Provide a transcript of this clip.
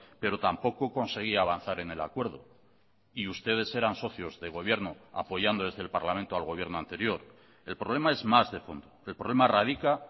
pero tampoco conseguía avanzar en el acuerdo y ustedes eran socios de gobierno apoyando desde el parlamento al gobierno anterior el problema es más de fondo el problema radica